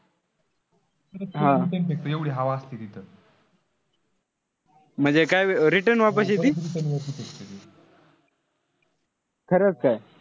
म्हणजे काय अह return वापस येती? खरंच काय?